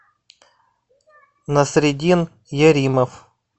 насредин яримов